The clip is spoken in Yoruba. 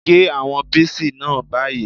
Gé àwọn píìsì náà báyìí!